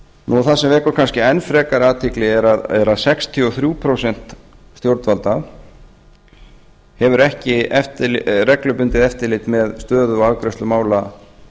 það sem vekur kannski enn frekar athygli er að sextíu og þrjú prósent stjórnvalda hafa ekki reglubundið eftirlit með stöðu og afgreiðslu mála